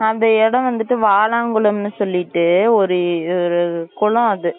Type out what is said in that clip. அந்த இடம் வந்துட்டு வாழம்குளம்னு சொல்லிட்டு ஒரு ஒரு குளம் அது